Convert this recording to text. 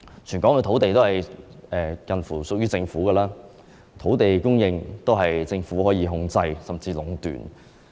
全港的土地差不多也是屬於政府的，土地供應可以由政府控制，甚至壟斷。